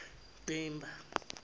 ximba